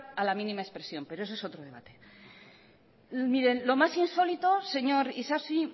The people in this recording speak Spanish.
a la mínima expresión pero ese es otro debate lo más insólito señor isasi